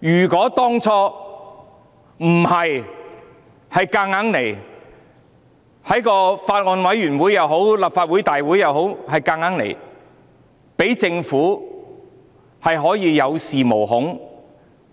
如果當初不是他們要強行在法案委員會或立法會大會通過有關的法案，讓政府有恃無恐，